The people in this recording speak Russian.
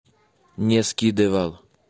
не скидывал